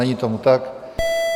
Není tomu tak.